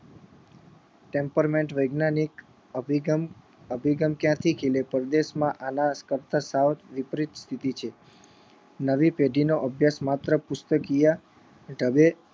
temperment વૈજ્ઞાનિક નિગમ નિગમ ક્યાંથી પરદેશમાં આના થી સાવ વિપરીત સ્થિતિ છે નવી પેઢીનો અભ્યાસ માત્ર પુસ્તકિયા ઢબે